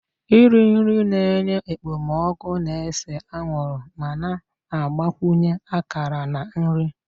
Iri nri na-enye ekpomeekpo na-ese anwụrụ ma na-agbakwunye akara na nri